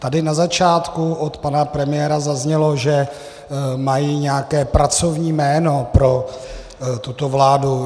Tady na začátku od pana premiéra zaznělo, že mají nějaké pracovní jméno pro tuto vládu.